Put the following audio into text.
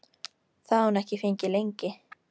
Það hafði hún ekki fengið lengi.